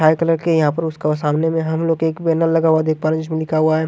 हरे colour के यहा पर उसका सामने हम लोग एक बैनर लगा हुआ देख पा रहे है जिसमे लिखा हुआ है।